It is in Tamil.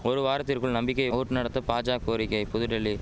ஒரு வாரத்திற்குள் நம்பிக்கை ஓட் நடத்த பாஜா கோரிக்கை புதுடெல்லி